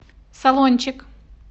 салончик